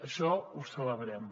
això ho celebrem